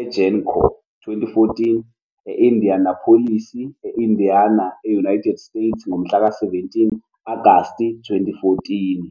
eGen Con 2014 e-Indianapolis, e-Indiana, e-United States, ngomhlaka 17 Agasti 2014.